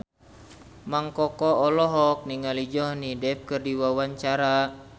Mang Koko olohok ningali Johnny Depp keur diwawancara